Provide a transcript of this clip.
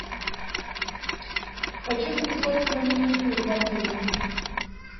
хочу записаться на маникюр в отеле